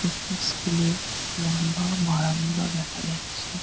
একটি স্কুল -এ লম্বা বারান্দা দেখা যাচ্ছে।